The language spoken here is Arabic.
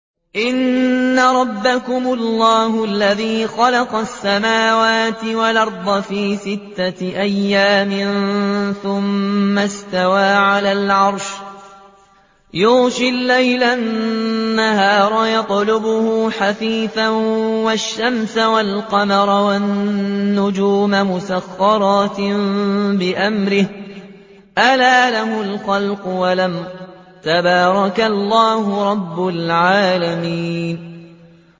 إِنَّ رَبَّكُمُ اللَّهُ الَّذِي خَلَقَ السَّمَاوَاتِ وَالْأَرْضَ فِي سِتَّةِ أَيَّامٍ ثُمَّ اسْتَوَىٰ عَلَى الْعَرْشِ يُغْشِي اللَّيْلَ النَّهَارَ يَطْلُبُهُ حَثِيثًا وَالشَّمْسَ وَالْقَمَرَ وَالنُّجُومَ مُسَخَّرَاتٍ بِأَمْرِهِ ۗ أَلَا لَهُ الْخَلْقُ وَالْأَمْرُ ۗ تَبَارَكَ اللَّهُ رَبُّ الْعَالَمِينَ